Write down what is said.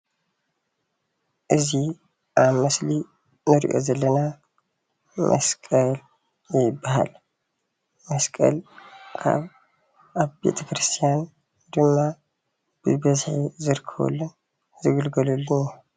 እዚ ኣብ ምስሊ እንሪኦ ዘለና መስቀል ይባሃል፡፡ መስቀል ኣብ ቤተክርስትያን ድማ ብበዝሒ ዝርከበሉን ዝግልገለሉን እዩ፡፡